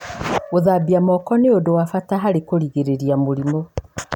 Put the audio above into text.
Gũthambia moko nĩ ũndũ wa bata harĩ kũgirĩrĩria mũrimũ.